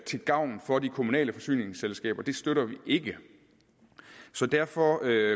til gavn for de kommunale forsyningsselskaber støtter vi ikke derfor